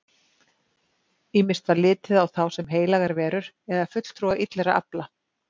Ýmist var litið á þá sem heilagar verur eða fulltrúa illra afla.